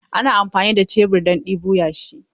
Ana amfani da shebur don ɗebo yashi.